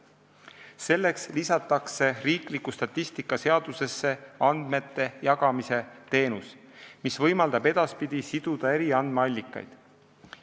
Selleks lisatakse riikliku statistika seadusesse andmejagamisteenus, mis võimaldab edaspidi siduda eri andmeallikaid.